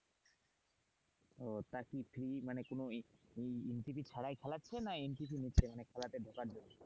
ও তা কি fee মানে কোন ছাড়া খেলাচ্ছে না নিচ্ছে খেলাতে ঢোকার জন্য,